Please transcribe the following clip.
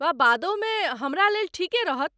वा बादहु मे हमरालेल ठीके रहत।